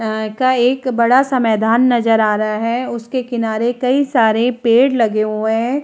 यहाँ का एक बड़ा से मैंदान नजर आ रहा है उसके किनारे कई सारे पेड़ लगे हुए हैं।